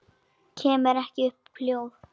Kemur ekki upp hljóði.